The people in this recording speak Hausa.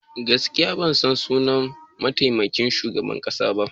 Gaskiya ban san sunan mataimakin shugaban kasa ba.